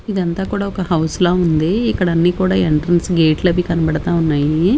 ఇదంతా కూడా ఒక హౌస్ లా ఉంది ఇక్కడన్నీ కూడా ఎంట్రన్స్ గేట్లు అవి కనబడతా ఉన్నాయి.